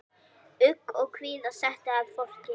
Ugg og kvíða setti að fólki.